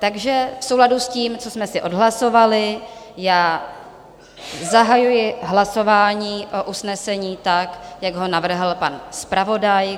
Takže v souladu s tím, co jsme si odhlasovali, já zahajuji hlasování o usnesení tak, jak ho navrhl pan zpravodaj.